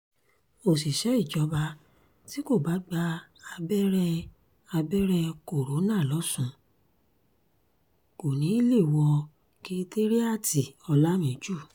òṣìṣẹ́ ìjọba tí kò bá gba abẹ́rẹ́ abẹ́rẹ́ corona lọ́sùn kò ní í lè wọ́ kèétaríàti olàmìjù